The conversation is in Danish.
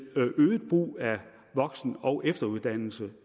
øget brug af voksen og efteruddannelse